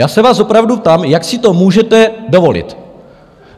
Já se vás opravdu ptám, jak si to můžete dovolit?